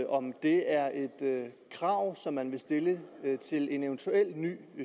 om det er et krav som man vil stille til en eventuel ny